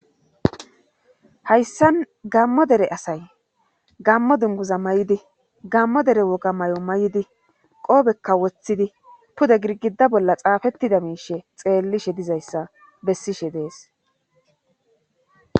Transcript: hayssan gammo dere asay gammo dunguza may7idi gammo dere woga may7o may7di qoobekka woththidi puda girgida bolla xaafettida miishe xeellishe dizayssa bessishe dees